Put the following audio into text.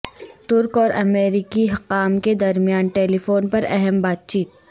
ترک اور امریکی حکام کے درمیان ٹیلی فون پر اہم بات چیت